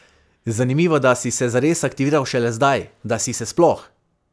Zanimivo, da si se zares aktiviral šele zdaj, da si se sploh!